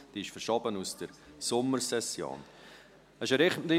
Diese wurde aus der Sommersession verschoben.